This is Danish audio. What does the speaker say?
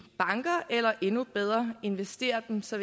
banker eller endnu bedre investerer dem så